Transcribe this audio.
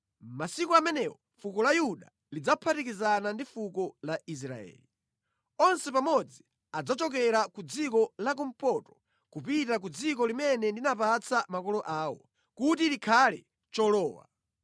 Masiku amenewo fuko la Yuda lidzaphatikizana ndi fuko la Israeli, onse pamodzi adzachokera ku dziko la kumpoto kupita ku dziko limene ndinapatsa makolo awo, kuti likhale cholowa.